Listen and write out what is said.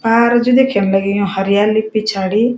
पार जु देख्यण लग्युं यु हरियाली पिछाडी।